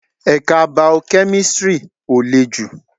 Ẹ̀ka bao-kẹ́mísri ó lè jù